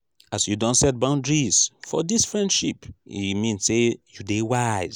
as you don set boudaries for dis friendship e mean sey you dey wise.